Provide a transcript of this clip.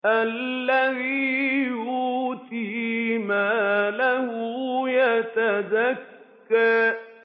الَّذِي يُؤْتِي مَالَهُ يَتَزَكَّىٰ